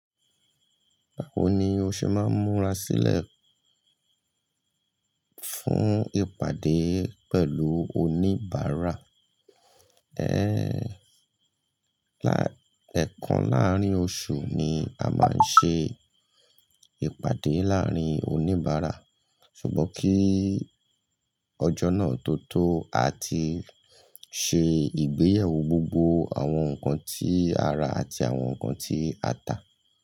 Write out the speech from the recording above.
Báwo ni o ṣe máa ń múra sílẹ̀ fún ìpàdé pẹ̀lú oníbàárà? Ẹ ẹ̀ẹ̀kan láàárín oṣù ni a máa ń ṣe ìpàdé láàárín oníbàárà, ṣùgbọ́n kí ọjọ́ náà tó tó, a ti ṣe ìgbéyàwó gbogbo àwọn nǹkan tí a ra àti àwọn nǹkan tí a ta.